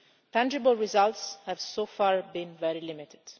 Tangible results have so far been very limited.